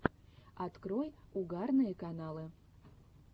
открой угарные каналы